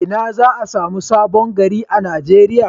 Ina za a samu Sabon gari a Nigeriya.